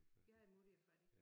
Vi havde mutti og fatti